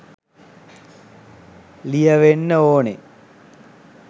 ලියවෙන්න ඕනෙ